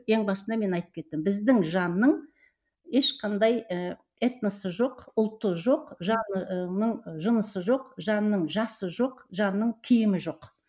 ең басында мен айтып кеттім біздің жанның ешқандай ыыы этносы жоқ ұлты жоқ жанының жынысы жоқ жанның жасы жоқ жанның киімі жоқ